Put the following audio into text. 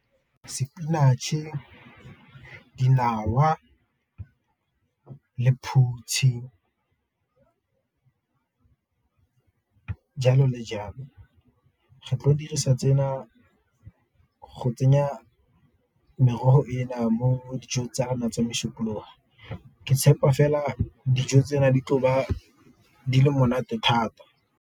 Spinach-e, dinawa, lephutshi, jalo le jalo. Re tlo go dirisa go tsenya merogo e mo dijong tsa rona tsa mosupologo, ke tshepa fela dijo di le monate thata.